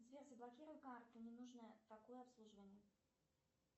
сбер заблокируй карту не нужно такое обслуживание